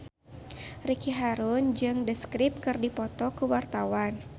Ricky Harun jeung The Script keur dipoto ku wartawan